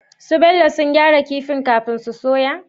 Bello sun gyara kifin kafin su soya?